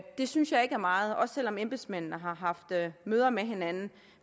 det synes jeg ikke er meget også selv om embedsmændene har haft møder med hinanden